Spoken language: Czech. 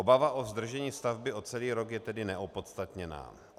Obava o zdržení stavby o celý rok je tedy neopodstatněná.